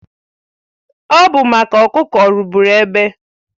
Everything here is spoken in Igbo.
Ọ bụ maka ọkụkọ rụgbụrụ egbe